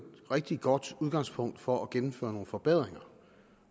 rigtig godt udgangspunkt for at gennemføre nogle forbedringer